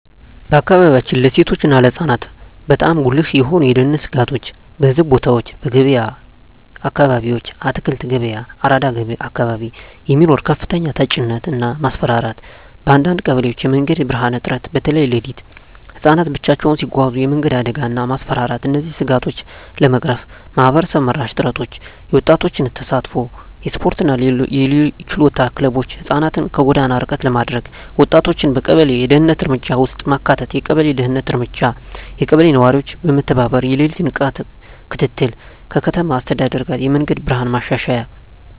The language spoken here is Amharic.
በአካባቢያችን ለሴቶች እና ለህፃናት በጣም ጉልህ የሆኑ የደህንነት ስጋቶች :- በሕዝብ ቦታዎች *በገበያ አካባቢዎች (አትክልት ገበያ፣ አራዳ አካባቢ) የሚኖር ከፍተኛ ተጭነት እና ማስፈራራት *በአንዳንድ ቀበሌዎች የመንገድ ብርሃን እጥረት (በተለይ ሌሊት) *ህፃናት ብቻቸውን ሲጓዙ የመንገድ አደጋ እና ማስፈራራት እነዚህን ስጋቶች ለመቅረፍ ማህበረሰብ መራሽ ጥረቶች :- የወጣቶች ተሳትፎ *የስፖርትና የችሎታ ክለቦች (ህፃናትን ከጎዳና ርቀት ለማድረግ) *ወጣቶችን በቀበሌ የደህንነት እርምጃ ውስጥ ማካተት የቀበሌ ደህንነት እርምጃ *የቀበሌ ነዋሪዎች በመተባበር የሌሊት ንቃት ክትትል *ከከተማ አስተዳደር ጋር የመንገድ ብርሃን ማሻሻያ